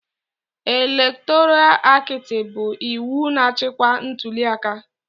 Elektoral aktị bụ iwu na-achịcha ntuliaka.